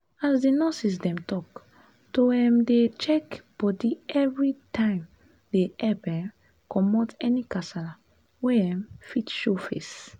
as di nurses dem talk to um dey check bodi evrytimedey epp um commot any kasala wey um fit show face